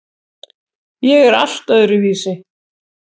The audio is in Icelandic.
Ég er allt öðruvísi.